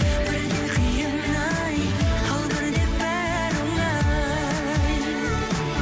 бірде қиын ай ал бірде бәрі оңай